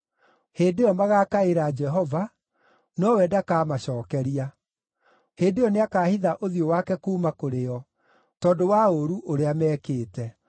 Hĩndĩ ĩyo magaakaĩra Jehova, nowe ndakamacookeria. Hĩndĩ ĩyo nĩakahitha ũthiũ wake kuuma kũrĩ o, tondũ wa ũũru ũrĩa mekĩte.